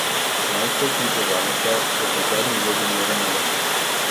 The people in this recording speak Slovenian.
Člansko ekipo Zavrča je kot zadnji vodil Miran Emeršič.